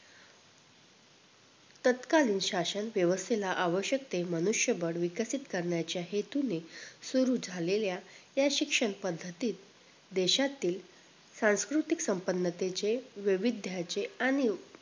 तत्कालीन शासन व्यवस्थेला आवश्यक ते मनुष्य बळ विकसित करण्याच्या हेतूने सुरु झालेल्या या शिक्षण पद्धतीत देशातील सांस्कृतिक संपन्नतेचे वैविध्याचे आणि अं